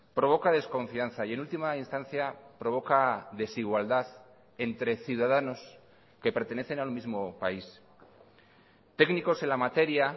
provoca desconfianza y en última instancia provoca desigualdad entre ciudadanos que pertenecen al mismo país técnicos en la materia